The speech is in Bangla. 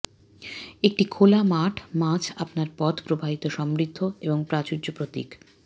একটি খোলা মাঠ মাছ আপনার পথ প্রবাহিত সমৃদ্ধি এবং প্রাচুর্য প্রতীক